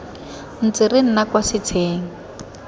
ntse re nna kwa setsheng